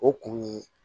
O kun ye